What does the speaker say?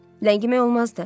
Ləngimək olmazdı.